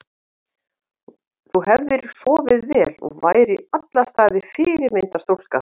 Þú hefðir sofið vel og værir í alla staði fyrirmyndar stúlka.